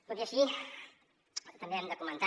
tot i així també hem de comentar